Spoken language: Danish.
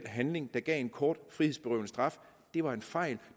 handling der gav en kort frihedsberøvende straf var en fejl